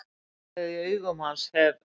Brjálæðið í augum hans hef